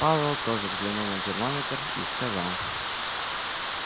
пауэлл тоже взглянул на термометр и сказал